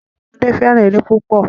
Àwọn ọmọdé fẹ́ràn eré púpọ̀.